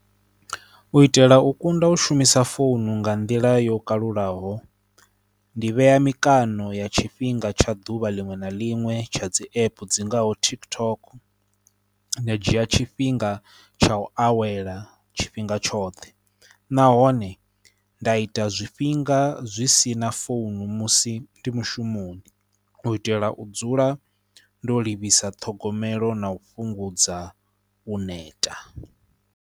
U itela u kunda u shumisa founu nga nḓila yo kalulaho ndi vhea mikano ya tshifhinga tsha ḓuvha liṅwe na liṅwe tsha dzi app dzi ngaho TikTok. Nda dzhia tshifhinga tsha u awela tshifhinga tshoṱhe nahone nda ita zwifhinga zwi si na founu musi ndi mushumoni, u itela u dzula ndo livhisa ṱhogomelo na u fhungudza u neta.